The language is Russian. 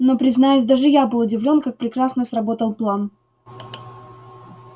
но признаюсь даже я был удивлён как прекрасно сработал план